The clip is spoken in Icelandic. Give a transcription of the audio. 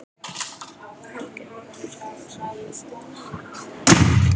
Helgi Magnús Gunnarsson: Þessum málum?